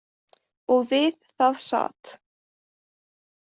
Og við það sat.